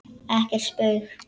Ekkert spaug